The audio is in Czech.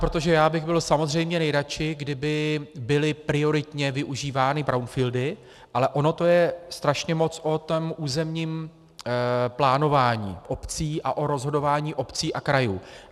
Protože já bych byl samozřejmě nejradši, kdyby byly prioritně využívány brownfieldy, ale ono to je strašně moc o tom územním plánování obcí a o rozhodování obcí a krajů.